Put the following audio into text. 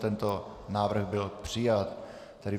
Tento návrh byl přijat.